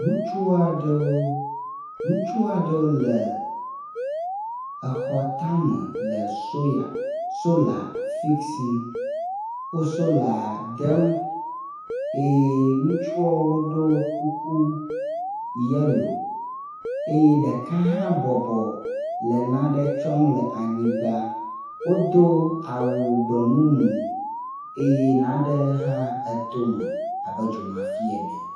Ŋutsu aɖewo utsu aɖewo le exɔ tame le soya sola fisim. Wo sola dem eye ŋutsuawo ɖo kuku yelo eye ɖeka hã bɔbɔ le nane tsɔm le anyigba. Wodo awu gbemumu eye nane hã etome abe dzomafi ene.